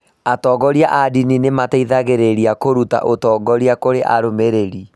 Atongoria a ndini nĩ mateithagĩrĩria kũruta ũtongoria kũrĩ arũmĩrĩri.